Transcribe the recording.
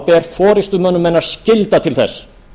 ber forustumönnum hennar skylda til þess